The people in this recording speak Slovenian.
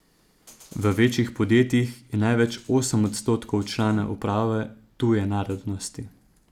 V večjih podjetjih je največ osem odstotkov članov uprave tuje narodnosti.